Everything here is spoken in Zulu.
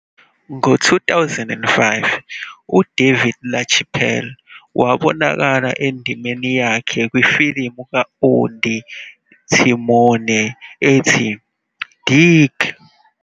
Ngo-2005, uDavid LaChapelle wabonakala endimeni yakhe kwifilimu ka-Ondi Timoner ethi Dig!